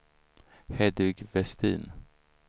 Hedvig Vestin